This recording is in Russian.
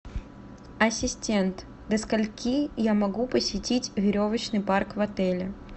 ассистент до скольки я могу посетить веревочный парк в отеле